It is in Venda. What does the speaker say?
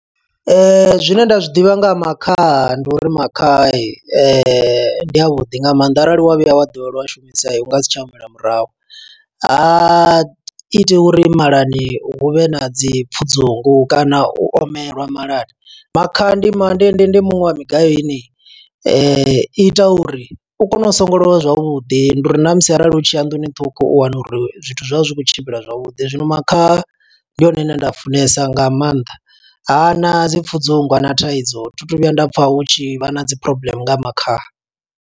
Zwine nda zwi ḓivha nga ha makhaha, ndi uri makhadzi ndi a vhuḓi nga maanḓa. Arali wa vhuya wa ḓivhelwa u a shumisa, u nga si tsha humela murahu. Ha iti uri malani hu vhe na dzi pfudzungu kana u omelwa malani. Makhaha ndi ma, ndi ndi ndi muṅwe wa migayo ine, i ita uri u kone u songolowa zwavhuḓi. Ndi uri na musi arali u tshi ya nḓuni ṱhukh, u u wana uri zwithu zwawu zwi vha zwi khou tshimbila zwavhuḓi. Zwino makhaha, ndi hone hune nda a funesa nga maanḓa, ha na dzi pfudzungu, hana thaidzo, thi tu vhuya nda pfa hu tshi vha na dzi problem nga makhaha.